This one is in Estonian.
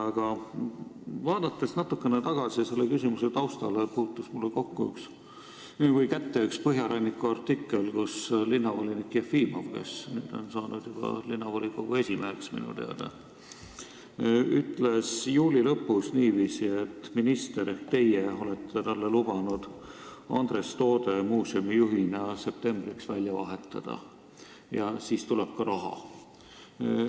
Aga mis puutub selle küsimuse tausta, siis mulle puutus kätte üks Põhjaranniku artikkel, kus linnavolinik Jefimov, kes nüüd on minu teada saanud linnavolikogu esimeheks, ütles juuli lõpus, et minister on talle lubanud Andres Toode muuseumi juhina septembriks välja vahetada ja et siis tuleb ka raha.